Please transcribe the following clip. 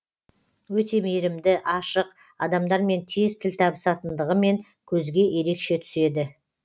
өте мейірімді ашық адамдармен тез тіл табысатындығымен көзге ерекше түседі